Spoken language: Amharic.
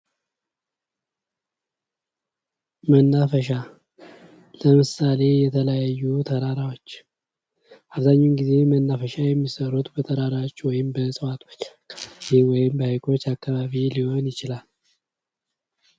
መናፈሻ ለምሳሌ የተለያዩ ተራራዎች ለምሳሌ የተለያዩ ተራራዎች አብዛኛውን ጊዜ መናፈሻዎች የሚሰሩት በተራሮች ወይም በሀይቆች ሊሆን ዪችህላል።